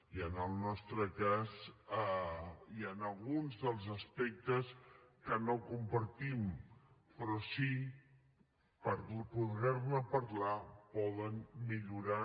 i en el nostre cas hi han alguns dels aspectes que no compartim però sí que per poder ne parlar poden millorar